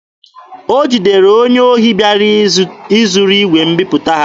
O jidere onye ohi bịara izuru igwe mbiputa ha.